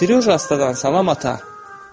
Siryoja astadan salam, ata.